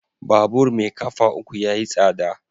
Babur mai kafa uku yayi tsada.